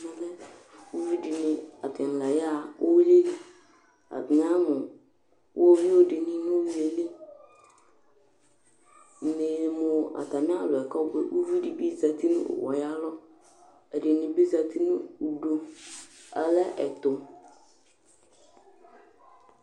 Uvidini atani la ya ɣa uwili Atani ya ɣa nu uɣɔwiuɖini nu uwui yɛ li Ni ne yi mu atami alɔ yɛ kabuɛ Uʋiɖi zãti nu owu yɛ ayu alɔ Ɛɖinibi zãti nu uɖu Alɛ ɛtu